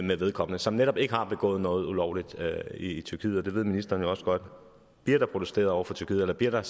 med vedkommende som netop ikke har begået noget ulovligt i tyrkiet og det ved ministeren også godt bliver der protesteret over for tyrkiet eller bliver der